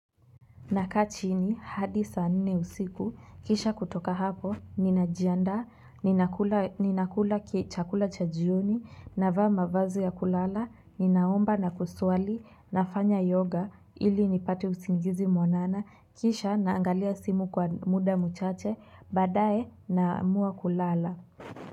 Nakachini hadi saa nne usiku, kisha kutoka hapo, ninajianda, ninakula kichakula chajioni, nava mavazi ya kulala, ninaomba na kusuali, nafanya yoga, ili nipate usingizi mwanana, kisha naangalia simu kwa muda muchache, badae namua kulala.